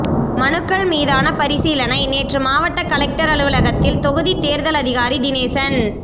மனுக்கள் மீதான பரிசீலனை நேற்று மாவட்ட கலெக்டர் அலுவலகத்தில் தொகுதி தேர்தல் அதிகாரி தினேசன்